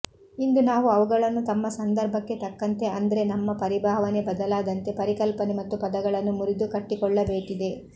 ಇಂದು ನಾವು ಅವುಗಳನ್ನು ನಮ್ಮ ಸಂದರ್ಭಕ್ಕೆ ತಕ್ಕಂತೆ ಅಂದ್ರೆ ನಮ್ಮ ಪರಿಭಾವನೆ ಬದಲಾದಂತೆ ಪರಿಕಲ್ಪನೆ ಮತ್ತು ಪದಗಳನ್ನು ಮುರಿದು ಕಟ್ಟಿಕೊಳ್ಳಬೇಕಿದೆ